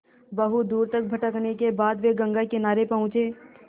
बहुत दूर तक भटकने के बाद वे गंगा किनारे पहुँचे